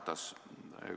Härra Ratas!